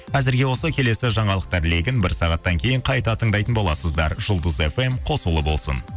әзірге осы келесі жаңалықтар легін бір сағаттан кейін қайта тыңдайтын боласыздар жұлдыз фм қосулы болсын